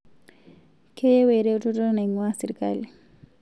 Keyieu eretoto naing'ua sirkali